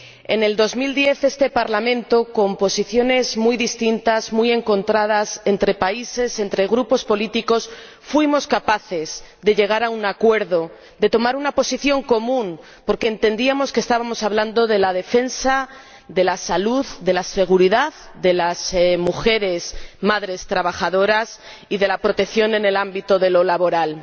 En 2010, en este Parlamento, con posiciones muy distintas, muy encontradas entre países y entre grupos políticos, fuimos capaces de llegar a un acuerdo, de tomar una posición común, porque entendíamos que estábamos hablando de la defensa de la salud, de la seguridad de las madres trabajadoras y de la protección en el ámbito laboral.